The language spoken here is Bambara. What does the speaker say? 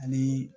Ani